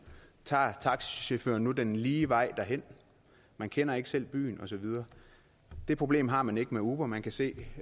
tager taxachaufføren nu den lige vej derhen man kender ikke selv byen og så videre det problem har man ikke med uber man kan se